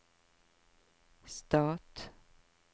stat